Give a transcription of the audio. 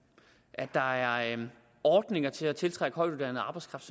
at der er ordninger til at tiltrække højtuddannet arbejdskraft